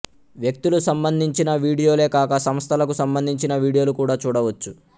వ్యక్తులు సంబంధించిన వీడియోలే కాక సంస్థలకు సంబంధించిన వీడియోలు కూడా చూడవచ్చు